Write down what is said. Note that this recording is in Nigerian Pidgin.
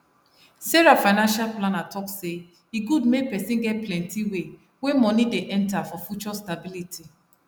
sarah financial planner talk say e good make person get plenti way wey money dey enter for future stability